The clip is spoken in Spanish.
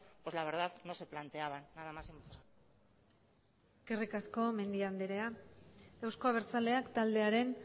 pues la verdad no se planteaban nada más y muchas gracias eskerrik asko mendia andrea euzko abertzaleak taldearen